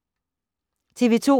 TV 2